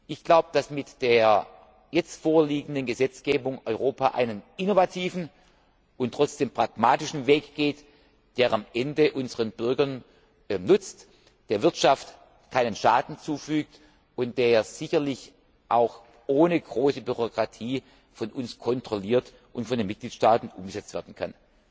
Themen. Ich glaube, dass Europa mit der jetzt vorliegenden Gesetzgebung einen innovativen und trotzdem pragmatischen Weg geht, der am Ende unseren Bürgern nutzt, der Wirtschaft keinen Schaden zufügt und der sicherlich auch ohne große Bürokratie von uns kontrolliert und von den Mitgliedstaaten umgesetzt